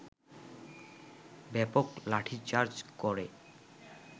ব্যাপক লাঠিচার্জ করে